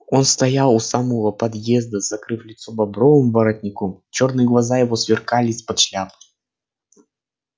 он стоял у самого подъезда закрыв лицо бобровым воротником чёрные глаза его сверкали из-под шляпы